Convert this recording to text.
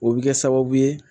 O bɛ kɛ sababu ye